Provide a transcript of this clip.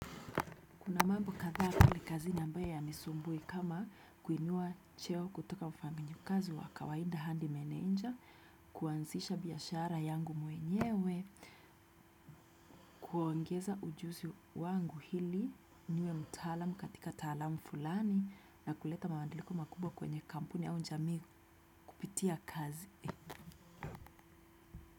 Kuna mambo kadhaa pale kazi ambaya ya nisumbui kama kuinua cheo kutoka ufaminyo kazi wa kawaida handi menenja, kuanzisha biashara yangu mwenyewe, kuongeza ujuzi wangu hili, niwe mtalamu katika talamu fulani na kuleta mawandiliko makubwa kwenye kampuni au njamii kupitia kazi.